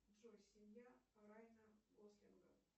джой семья райана гослинга